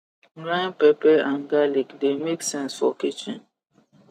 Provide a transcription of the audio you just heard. grind pepe and garlic the make sense for kitchen